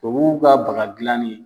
Tubabuw ka baga gilanni.